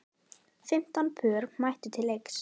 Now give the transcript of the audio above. Fimmtán pör mættu til leiks.